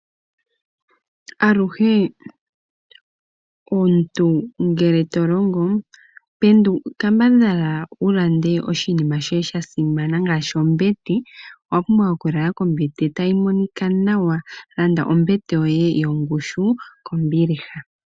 Aluhe omuntu ngele ho longo kambadhala wu lande oshinima shoye sha simana ngaashi ombete. Omuntu owa pumbwa okulala kombete tayi monika nawa, onkene landa ombete yoye kombiliha.